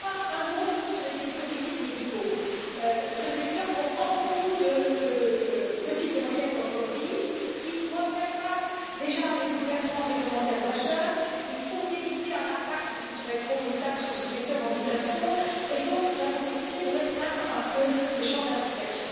Un mot, enfin, sur les dispositifs médicaux. Ce secteur comprend beaucoup de petites et moyennes entreprises qui doivent déjà faire face à des bouleversements réglementaires majeurs. Il faut éviter un impact qui serait trop brutal sur ce secteur en mutation et c'est pourquoi nous avons décidé de restreindre un peu le champ d'application.